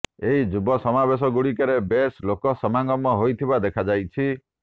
ଏହି ଯୁବ ସମାବେଶଗୁଡ଼ିକରେ ବେଶ୍ ଲୋକ ସମାଗମ ହେଉଥିବା ଦେଖାଯାଇଛି